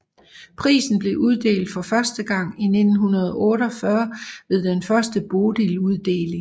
Prisen blev uddelt for første gang i 1948 ved den første Bodiluddeling